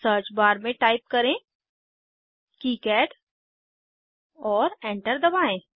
search bar में type करें किकाड और एंटर दबाएं